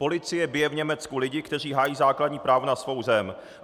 Policie bije v Německu lidi, kteří hájí základní právo na svou zem.